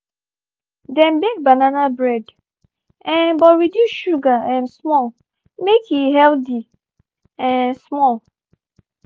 dem bake banana bread um but reduce sugar um small make e healthy um small.